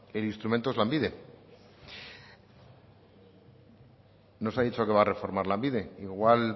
el instrumento es lanbide nos ha dicho que va a reformar lanbide igual